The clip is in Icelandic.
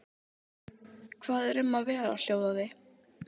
Hvað er um að vera hljóðaði